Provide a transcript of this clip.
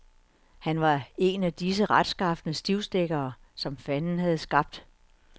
Han var en af disse retskafne stivstikkere, som fanden havde skabt.